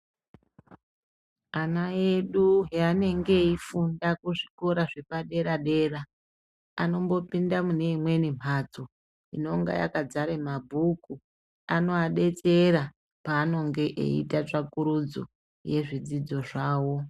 Ana edu paanenge eyi funda ku zvikora zvepa dera dera anombo pinda mune imweni mhatso inonga yaka zara ma bhuku anova detsera paanonga eyi ita tsvakurudzo ye zvidzidzo zvawo.